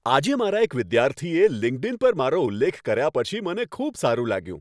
આજે મારા એક વિદ્યાર્થીએ લિંક્ડઈન પર મારો ઉલ્લેખ કર્યા પછી મને ખૂબ સારું લાગ્યું.